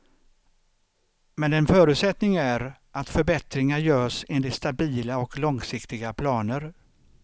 Men en förutsättning är att förbättringar görs enligt stabila och långsiktiga planer.